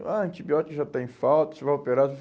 Ah, antibiótico já está em falta, você vai operar.